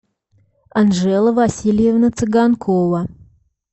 анжела васильевна цыганкова